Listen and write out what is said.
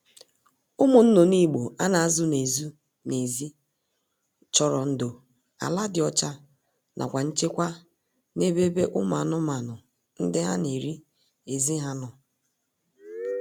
Ụmụ nnụnụ Igbo a na-azụ n'ezụ n'ezi chọrọ ndo, ala dị ọcha nakwa nchekwa n'ebebe umu anụmaanụ ndiha na-eri ezi ha nọ